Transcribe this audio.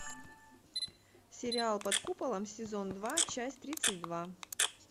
сериал под куполом сезон два часть тридцать два